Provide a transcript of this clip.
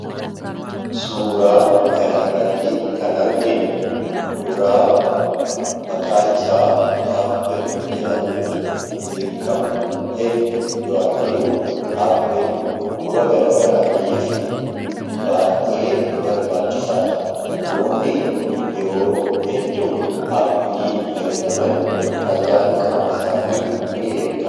Suuraan kanarratti kan arginu kuduraa maqaan isaa appilii jedhamuudhaan beekkamu hedduu yoo arginu appili dhukkuba garaan garaa garaarraatiis baay'ee barbaachisaadha namoonni yeroo hedduu appilii fayyadaman fayyaan qaama isaanii nii eeggama.